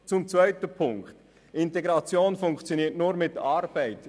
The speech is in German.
Zum zweiten Punkt: Integration funktioniert nur mit Arbeit.